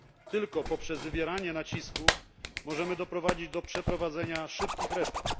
Tylko poprzez wywieranie nacisku możemy doprowadzić do przeprowadzenia szybkich reform.